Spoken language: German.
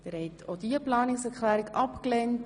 Sie haben Planungserklärung 7 abgelehnt.